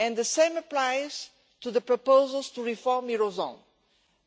The same applies to the proposals to reform the eurozone,